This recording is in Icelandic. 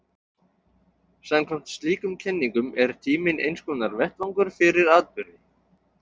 Samkvæmt slíkum kenningum er tíminn einskonar vettvangur fyrir atburði.